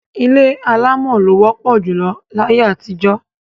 Ilé alámọ̀ ló wọ́pọ̀ júlọ láyé àtijọ́.